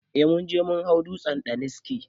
Eh munje mun hau dutsen daniski